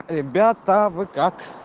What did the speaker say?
ребята вы как